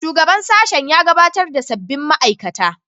Shugaban sashen ya gabatar da sabbin ma'aikata